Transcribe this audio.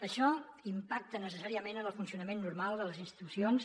això impacta necessàriament en el funcionament normal de les institucions